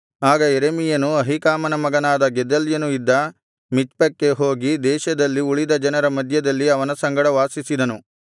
ಆಗ ಯೆರೆಮೀಯನು ಅಹೀಕಾಮನ ಮಗನಾದ ಗೆದಲ್ಯನು ಇದ್ದ ಮಿಚ್ಪಕ್ಕೆ ಹೋಗಿ ದೇಶದಲ್ಲಿ ಉಳಿದ ಜನರ ಮಧ್ಯದಲ್ಲಿ ಅವನ ಸಂಗಡ ವಾಸಿಸಿದನು